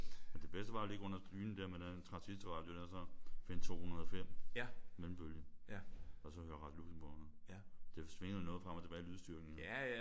Men det bedste var jo at ligge under dynen der med den transistorradio der så finde 205 mellembølge og så høre Radio Luxembourg. Det svingede jo noget frem og tilbage lydstyrken men